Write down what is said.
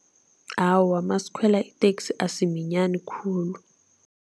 Awa, masikhwela iteksi asiminyani khulu.